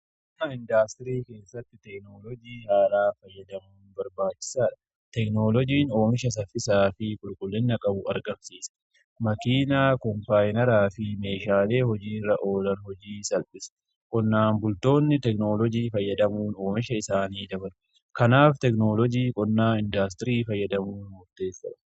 Qonnaa indaastirii keessatti teekinoolojii haalaa fayyadamuun barbaachisaadha. Teeknolojiin oomisha saffisaa fi qulqullina qabu argamsiisa. Makiinaa koompaayinaraa fi meeshaalee hojiiirra oolan hojii salphisa qonnaan bultoonni teekinoolojii fayyadamuun oomisha isaanii dabalu. Kanaaf teekinoloojii qonnaa indaastirii fayyadamuun murteessaadha.